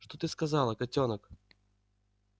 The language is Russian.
что ты сказала котёнок